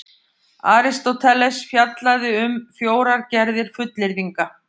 Aristóteles fjallaði því um fjórar gerðir fullyrðinga: